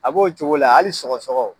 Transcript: A b'o cogo la ali sɔgɔsɔgɔ